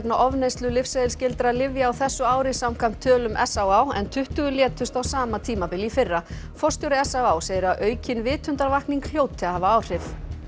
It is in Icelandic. ofneyslu lyfseðilsskyldra lyfja á þessu ári samkvæmt tölum s á á en tuttugu létust á sama tímabili í fyrra forstjóri s á á segir að aukin vitundarvakning hljóti að hafa áhrif